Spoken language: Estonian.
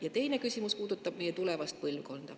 Ja teine küsimus puudutab meie tulevast põlvkonda.